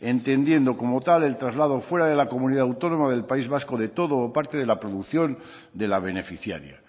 entendiendo como tal el traslado fuera de la comunidad autónoma del país vasco de todo o parte de la producción de la beneficiaria